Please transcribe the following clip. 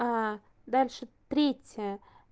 дальше третье